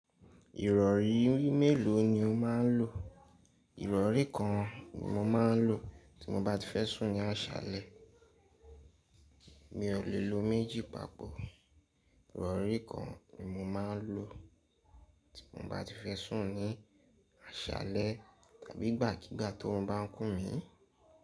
Ìrọ̀rí méèló ni o máà ń lò? Ìrọ̀rí kan o n mo máà ń lò tí mo bá ti fẹ́ sùn ní àṣálẹ́. Mi ò lè lo méjì papọ̀. Ìrọ̀rí kan ni mo máà ń lò tí mo bá ti fẹ́ sùn ní àṣálẹ́ tàbí ìgbàkígbà torun bá ń kún mi.